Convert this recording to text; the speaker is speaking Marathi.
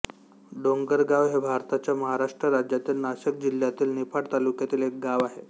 डोंगरगाव हे भारताच्या महाराष्ट्र राज्यातील नाशिक जिल्ह्यातील निफाड तालुक्यातील एक गाव आहे